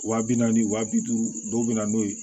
Wa bi naani wa bi duuru dɔw be na n'o ye